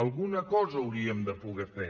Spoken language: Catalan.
alguna cosa hauríem de poder fer